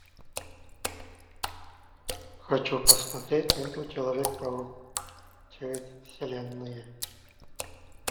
хочу посмотреть ленту человек паук через вселенные